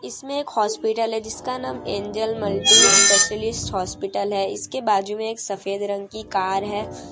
इसमें एक हॉस्पिटल है जिसका नाम एंजेल मल्टी स्पेशलिस्ट हॉस्पिटल है इसके बाजु में एक सफेद रंग की कार है।